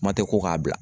Ma tɛ ko k'a bila